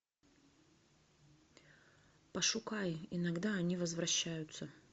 пошукай иногда они возвращаются